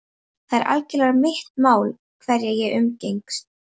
Það er algerlega mitt mál hverja ég umgengst.